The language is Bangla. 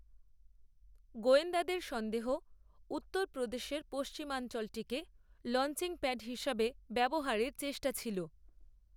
গোয়েন্দাদের সন্দেহ, উত্তরপ্রদেশের পশ্চিমাঞ্চলটিকে লঞ্চিং প্যাড হিসাবে ব্যবহারের চেষ্টা ছিল